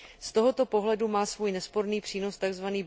Z tohoto pohledu má svůj nesporný přínos tzv.